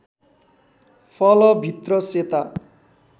फल भित्र सेता